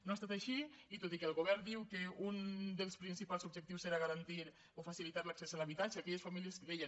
no ha estat així i tot i que el govern diu que un dels principals objectius serà garantir o facilitar l’accés a l’habitatge a aquelles famílies que deien